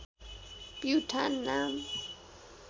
प्युठान नाम